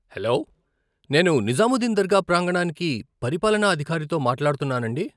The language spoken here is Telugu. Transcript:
హలో నేను నిజాముద్దీన్ దర్గా ప్రాంగణానికి పరిపాలనా అధికారితో మాట్లాడుతున్నానండీ?